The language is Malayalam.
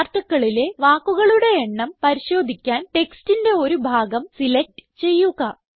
Articleലെ വാക്കുകളുടെ എണ്ണം പരിശോധിക്കാൻ ടെക്സ്റ്റിന്റെ ഒരു ഭാഗം സിലക്റ്റ് ചെയ്യുക